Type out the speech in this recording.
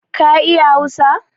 Ka iya hausa?